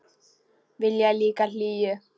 Vilja líka hlýju.